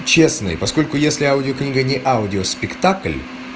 честный поскольку если аудиокнига не аудиоспектакль